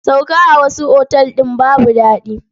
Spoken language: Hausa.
Sauka a wasu otal ɗin babu daɗi.